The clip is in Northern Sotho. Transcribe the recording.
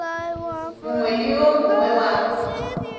mongwe le wo mongwe wa